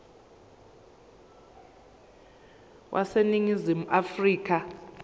wase ningizimu afrika